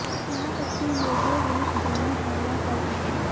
यहां तक कि योगों रूस जंगली झाड़ियों कर रहे हैं